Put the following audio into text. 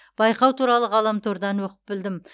байқау туралы ғаламтордан оқып білдім